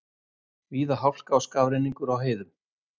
Víða hálka og skafrenningur á heiðum